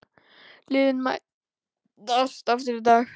Liðin mætast aftur í dag.